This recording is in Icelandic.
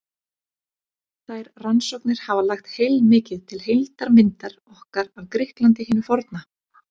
Þær rannsóknir hafa lagt heilmikið til heildarmyndar okkar af Grikklandi hinu forna.